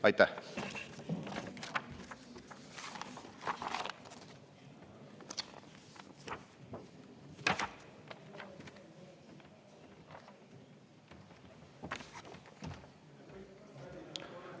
Aitäh!